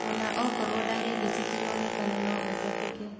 Ona okorwo ndariri citironekana no ũtabĩke